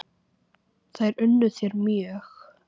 Þær unnu þér mjög.